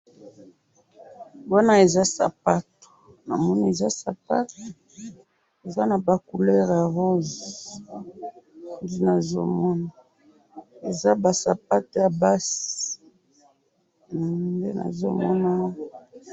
awa namoni eza ba stati ya bana ba stati ya bana batelemi stati moko esimbi loboko ya mwana moko na mosusu atelemi bazotala kuna namoni stati ya mama moko.